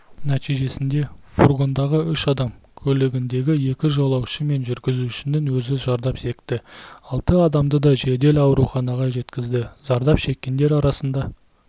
нәтижесінде фургондағы үш адам көлігіндегі екі жолаушы мен жүргізушінің өзі зардап шекті алты адамды да жедел ауруханаға жеткізді зардап шеккендер арасында